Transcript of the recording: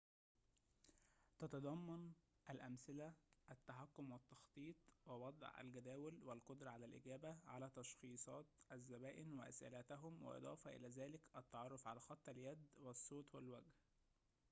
تتضمن الأمثلة التحكم والتخطيط ووضع الجداول والقدرة على الإجابة على تشخيصات الزبائن وأسئلتهم وإضافة إلى ذلك التعرف على خط اليد والصوت والوجه